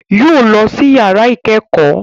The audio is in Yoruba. Yóò lọ sí yàrá ìkẹ́kọ̀ọ́